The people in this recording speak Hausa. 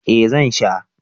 Eh zan sha